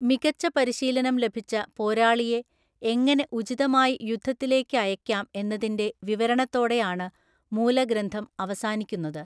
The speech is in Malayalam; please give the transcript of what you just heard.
മികച്ച പരിശീലനം ലഭിച്ച പോരാളിയെ എങ്ങനെ ഉചിതമായി യുദ്ധത്തിലേക്ക് അയയ്ക്കാം എന്നതിന്‍റെ വിവരണത്തോടെയാണ് മൂലഗ്രന്ഥം അവസാനിക്കുന്നത്.